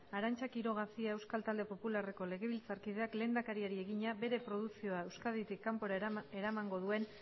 arantza quiroga cia euskal talde popularreko legebiltzarkideak lehendakariari egina bere produkzioa euskaditik kanpora eramango duen